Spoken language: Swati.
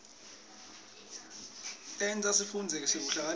tenta sifundze sihlakaniphe